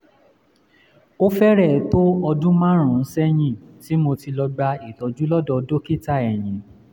ó fẹ́rẹ̀ẹ́ tó ọdún márùn-ún sẹ́yìn tí mo ti lọ gba ìtọ́jú lọ́dọ̀ dókítà eyín